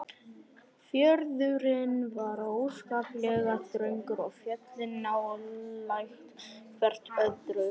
Fjörðurinn var óskaplega þröngur og fjöllin nálægt hvert öðru.